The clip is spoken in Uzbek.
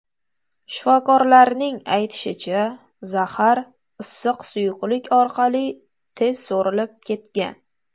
Shifokorlarning aytishicha, zahar issiq suyuqlik orqali tez so‘rilib ketgan.